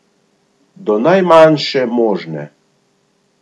Do najmanjše možne.